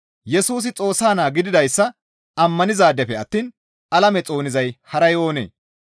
Yesusi Xoossa naa gididayssa ammanizaadefe attiin alame xoonizay haray oonee?